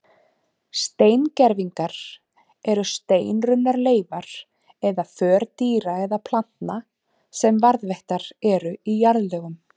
Steingervingar eru steinrunnar leifar eða för dýra eða plantna sem varðveittar eru í jarðlögum.